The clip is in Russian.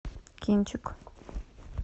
кинчик